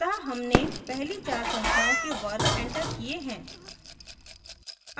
अतः हमने पहली चार संख्याओं के वर्ग एंटर किए हैं